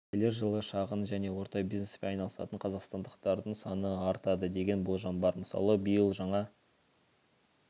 келер жылы шағын және орта бизнеспен айналысатын қазақстандықтардың саны артады деген болжам бар мысалы биыл жаңа